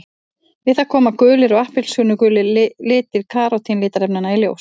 Við það koma gulir og appelsínugulir litir karótín litarefnanna í ljós.